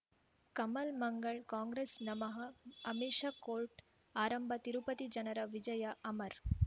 ಕಮಲ್ ಮಂಗಳ್ ಕಾಂಗ್ರೆಸ್ ನಮಃ ಅಮಿಷ ಕೋರ್ಟ್ ಆರಂಭ ತಿರುಪತಿ ಜನರ ವಿಜಯ ಅಮರ್